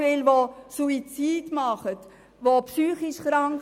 Viele begehen Suizid oder sind psychisch krank.